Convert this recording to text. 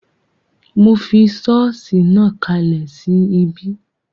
Mo fi sọ́ọ̀sì náà kalẹ̀ sí ibí